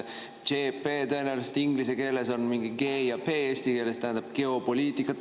tõenäoliselt inglise keeles on mingi G ja P ja eesti keeles tähendab geopoliitikat.